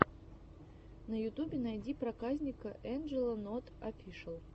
на ютубе найди проказника энджело нот офишиал